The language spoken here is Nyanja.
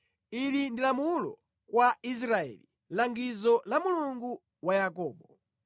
ili ndi lamulo kwa Israeli, langizo la Mulungu wa Yakobo.